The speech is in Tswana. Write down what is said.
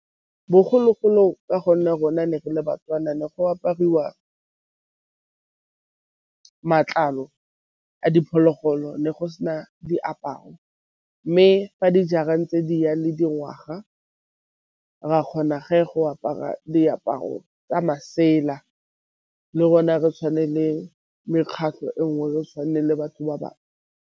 Bogologolo ka gonne rona ne re le Batswana ne go apariwa matlalo a diphologolo, ne go se na diaparo mme ba di jara ntse di ya le dingwaga. Re a kgona ge go apara diaparo tsa masela le rona re tshwane le mekgatlho e nngwe re tshwane le batho ba bangwe.